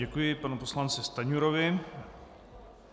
Děkuji panu poslanci Stanjurovi.